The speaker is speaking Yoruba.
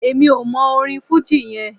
Èmi ò mọ orin fújì yẹn.